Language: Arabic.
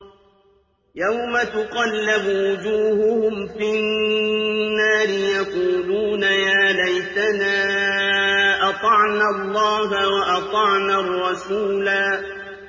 يَوْمَ تُقَلَّبُ وُجُوهُهُمْ فِي النَّارِ يَقُولُونَ يَا لَيْتَنَا أَطَعْنَا اللَّهَ وَأَطَعْنَا الرَّسُولَا